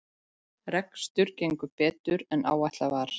Rekstur gengur betur en áætlað var